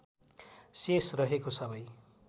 शेष रहेको सबै